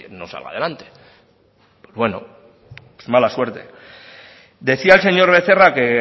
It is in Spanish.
no salga adelante pues bueno pues mala suerte decía el señor becerra que